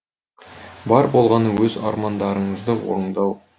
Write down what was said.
бар болғаны өз армандарыңызды орындау